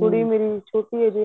ਕੁੜੀ ਮੇਰੀ ਛੋਟੀ ਏ ਅਜੇ